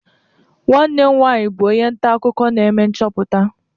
Nwanne m nwanyị bụ onye nta akụkọ na-eme nchọpụta.